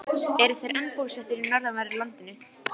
Þú átt eftir að falla fyrir honum. alveg flöt!